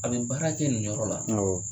A bɛ baara kɛ nin yɔrɔ la awɔ